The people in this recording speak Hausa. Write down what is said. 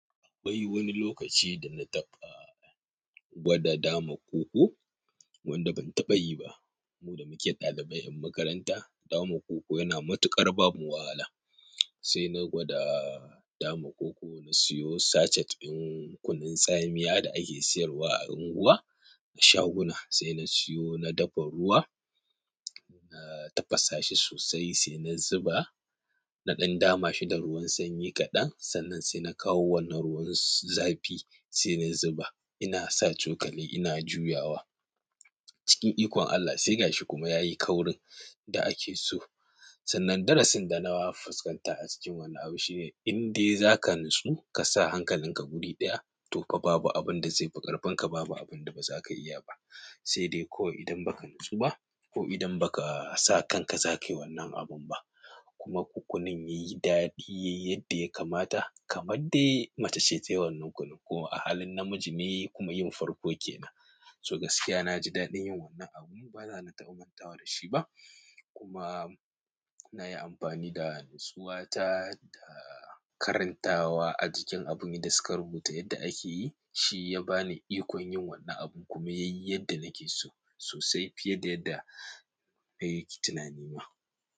Akwai wani lokaci da na taɓa gwada dama koko, wanda ban taɓa yi ba. Mu da muke ɗalibai en makaranta, dama koko yana matuƙar bamu wahala. Sai na gwada dama koko, na siyo sachet ɗin kunun tsamiya da ake sayarwa a unguwa, a shaguna. Sai na siyo, na dafa ruwa, na tafasa shi sosai sai na zuba. Na ɗan dama shi da ruwan sanyi kaɗan, sannan sai na kawo wannan ruwan zafi sai na zuba. Ina sa cokali, ina juyawa. Cikin ikon Allah sai gashi kuma yayi kaurin da ake so. Sannan darasin da na fuskanta a cikin wannan abu shine, in dai zaka natsu ka sa hankalinka guri ɗaya, to fa babu abin da zai fi ƙarfenka, babu abin da ba za ka iya ba. Sai dai kawai idan ba ka natsu ba, ko idan ba ka sa kanka za ka yi wannan abun ba. Kuma kunin yayi daɗi yayi yadda ya kamata, kamar dai mace ce ta yi wannan kunun ko a halin namiji ne kuma yin farko ke nan. So gaskiya na ji daɗin yin wannan abu, baza na taɓa mantawa da shi ba. Kuma na yi amfani da natsuwata ta karantawa a jikin abun yanda suka rubuta yadda ake yi, shi ya ba ni ikon yin wannan abun kuma yayi yadda nake so sosai fiye da yadda ban yi tunani ba.